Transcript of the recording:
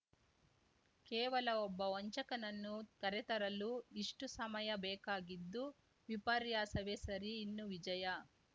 ಕೇವಲ ಒಬ್ಬ ವಂಚಕನನ್ನು ಕರೆತರಲು ಇಷ್ಟುಸಮಯ ಬೇಕಾಗಿದ್ದು ವಿಪರ್ಯಾಸವೇ ಸರಿ ಇನ್ನು ವಿಜಯ